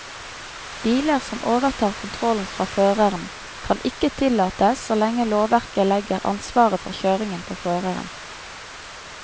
Biler som overtar kontrollen fra føreren, kan ikke tillates så lenge lovverket legger ansvaret for kjøringen på føreren.